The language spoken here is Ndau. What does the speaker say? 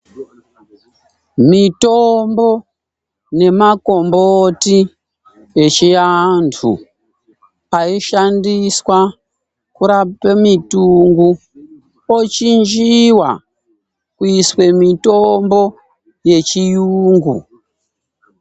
Mitombo nemakomboti echiantu paishandiswa kurape mintungu pochinjiwa kuiswe mitombo yechiyungu.